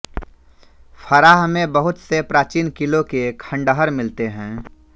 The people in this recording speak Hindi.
फ़राह में बहुत से प्राचीन क़िलों के खँडहर मिलते हैं